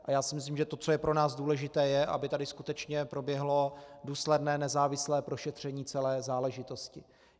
A já si myslím, že to, co je pro nás důležité, je, aby tady skutečně proběhlo důsledné nezávislé prošetření celé záležitosti.